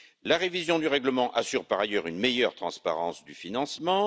La révision du règlement assure par ailleurs une meilleure transparence du financement.